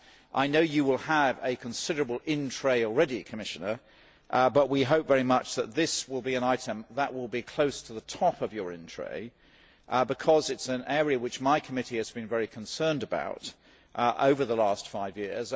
I know you will have a considerable in tray already, Commissioner, but we hope very much that this will be an item that will be close to the top of your in tray because it is an area which my committee has been very concerned about over the last five years.